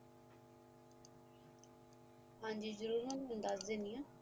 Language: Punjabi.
ਹਾਂਜੀ ਜਰੂਰ ਮੈ ਦਾਸ ਦੇਣੀ